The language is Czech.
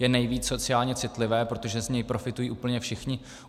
Je nejvíc sociální citlivé, protože z něj profitují úplně všichni.